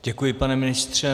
Děkuji, pane ministře.